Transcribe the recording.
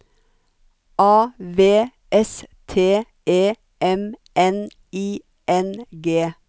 A V S T E M N I N G